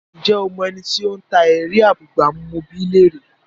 Ǹjẹ́ o mọ ẹni tí ó ń ta “ẹ̀rí abúgbàmù? mo bi í léèrè?